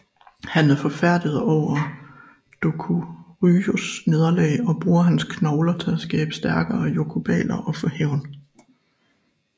Han er forfærdet over Dokuroxys nederlag og bruger hans knogler til at skabe stærkere yokubaler og få hævn